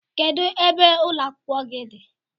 Kedụ ebe ụlọ akwụkwọ gị dị?